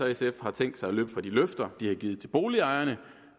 og sf har tænkt sig at løbe fra de løfter de har givet til boligejerne